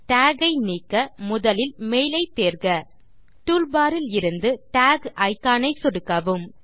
talk ஐ நீக்க முதலில் மெயில் ஐ தேர்க டூல்பார் இலிருந்து டாக் இக்கான் ஐ சொடுக்கவும்